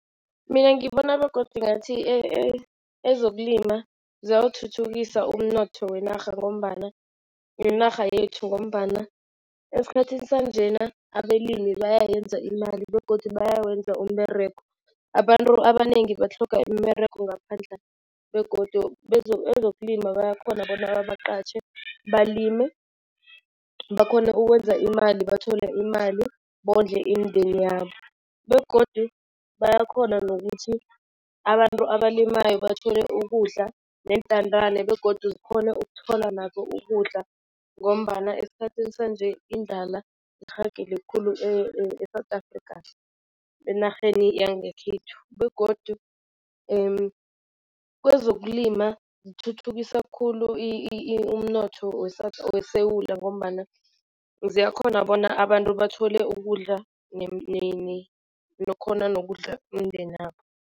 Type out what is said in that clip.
Mina ngibona begodu ngathi ezokulima ziyawuthuthukisa umnotho wenarha ngombana yinarha yethu ngombana esikhathini sanjena abelimi bayayenza imali begodu bayawenza umberego. Abantu abanengi batlhoga imberego ngaphandla begodu ezokulima bayakhona bona babaqatjhe balime bakhone ukwenza imali bathole imali, bondle imindeni yabo. Begodu bayakhona nokuthi abantu abalimayo bathole ukudla neentandane begodu zikhone ukuthola nazo ukudla ngombana esikhathini sanje indlala irhagele khulu e-South Afrikha, enarheni yangekhethu. Begodu kwezokulima zithuthukisa khulu umnotho weSewula ngombana, ziyakhona bona abantu bathole ukudla nokhona imindeni yabo.